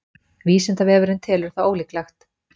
Vísindavefurinn telur það ólíklegt.